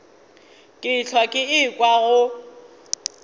ke hlwa ke ekwa go